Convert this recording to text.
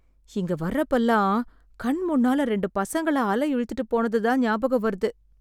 இங்க வர்றப்போல்லாம், கண்முன்னால ரெண்டு பசங்கள அலை இழுத்துட்டுப் போனதுதான் ஞாபகம் வருது.